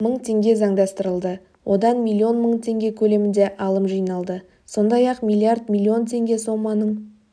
мың теңге заңдастырылды одан миллион мың теңге көлемінде алым жиналды сондай-ақ миллиард миллион теңге соманың